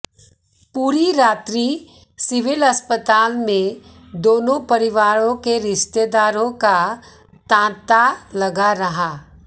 पूरी रात्रि सिविल अस्पताल में दोनों परिवारों के रिश्तेदारों का तांता लगा रहा